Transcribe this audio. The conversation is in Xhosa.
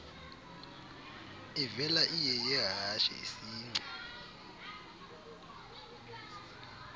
ivela iyeyehashe isingci